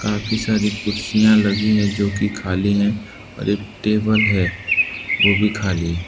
काफी सारी कुर्सियां लगी हैं जो कि खाली हैं और एक टेबल है वो भी खाली--